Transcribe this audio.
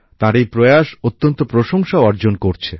তার এই প্রয়াস অত্যন্ত প্রশংসাও অর্জন করছে